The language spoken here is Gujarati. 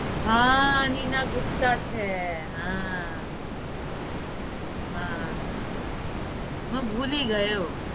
હા નીના ગુપ્તા છે હા હા હા હું ભૂલી ગયો